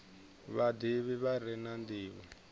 vhadivhi vha re na ndivho